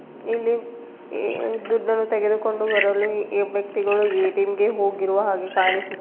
ಇಲ್ಲಿ ಈ- ದುಡ್ಡನ್ನು ತೆಗೆದುಕೊಂಡು ಬರಲು ವ್ಯಕ್ತಿಗಳು ಎ-ಟಿ-ಎಂ ಗೆ ಹೋಗಿರುವ ಹಾಗೆ ಕಾಣಿಸುತ್ತಿದೆ.